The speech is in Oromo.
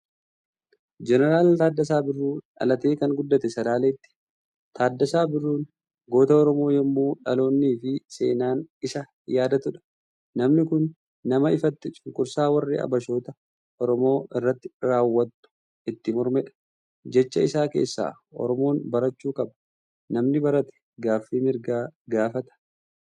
Jeneral Taaddasaa Birruu, dhalatee kan guddate Salaaletti. Taaddasaa Birruun goota oromoo yoomuu dhaloonnifi seenaan isa yaadatuudha. Namni kun nama ifatti cunqursaa warri Abashootaa Oromoo irratti raawwattu itti mormedha. Jecha isaa keessaa " Oromoon barachuu qaba, namni barate gaaffii mirgaa gaafata"